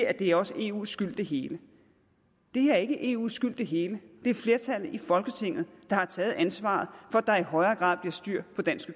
at det også er eus skyld det hele det er ikke eus skyld det hele det er flertallet i folketinget der har taget ansvaret for at der i højere grad bliver styr på dansk